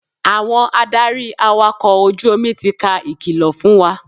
Àwọn adarí awakọ̀ ojú omi ti ka ìkìlọ̀ fún wa.